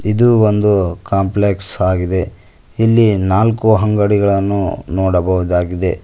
ಇದು ಒಂದು ಕಾಂಪ್ಲೆಕ್ಸ್ ಆಗಿದೆ ಇಲ್ಲಿ ನಾಲ್ಕು ಅಂಗಡಿಗಳನ್ನು ನೋಡಬಹುದಾಗಿದೆ.